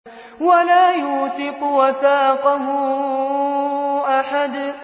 وَلَا يُوثِقُ وَثَاقَهُ أَحَدٌ